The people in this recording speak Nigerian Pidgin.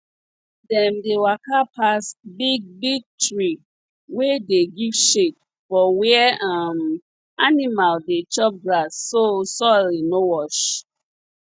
dem dey waka pass big big tree wey dey give shade for where um animal dey chop grass so soil no wash